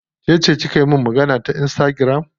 Kece kika min magana ta insitagiram?